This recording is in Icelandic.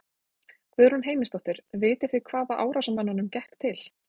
Guðrún Heimisdóttir: Vitið þið hvaða árásarmönnunum gekk til?